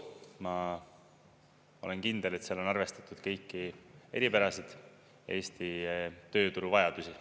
Ma olen kindel, et seal on arvestatud kõiki eripärasid, Eesti tööturu vajadusi.